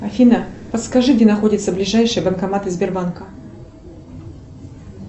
афина подскажи где находятся ближайшие банкоматы сбербанка